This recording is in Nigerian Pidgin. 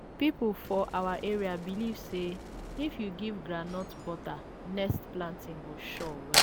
people for our area believe say if you give groundnut butter next planting go sure well.